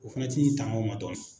O fana t'i tanga o ma dɔɔnin.